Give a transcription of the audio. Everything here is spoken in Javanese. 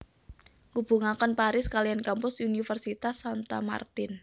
Ngubungaken Paris kaliyan kampus universitas Santa Martin